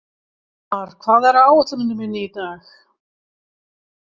Elmar, hvað er á áætluninni minni í dag?